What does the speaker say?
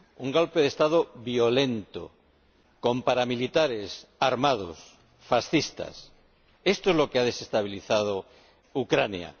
Un golpe de Estado violento, con paramilitares armados, fascistas. Esto es lo que ha desestabilizado Ucrania.